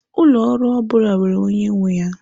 Ụlọ ọrụ ọ bụla nwere onye nwe ya.